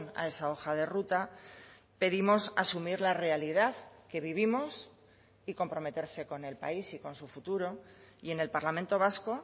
a esa hoja de ruta pedimos asumir la realidad que vivimos y comprometerse con el país y con su futuro y en el parlamento vasco